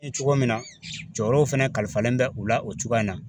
cogo min na jɔyɔrɔw fana kalifalen bɛ u la o cogoya in na.